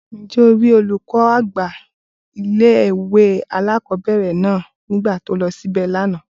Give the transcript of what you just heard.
Ǹjẹ́ o rí olùkọ́ àgbà ilé ìwé alákọ̀ọ́bẹ̀rẹ̀ náà nígbà tó lọ síbè lánàá?